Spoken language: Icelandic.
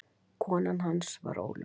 Kona hans var Ólöf